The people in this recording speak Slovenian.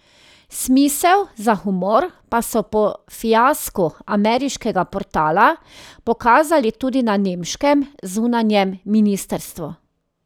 Smisel za humor pa so po fiasku ameriškega portala pokazali tudi na nemškem zunanjem ministrstvu.